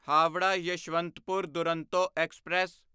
Howrah Yesvantpur Duronto express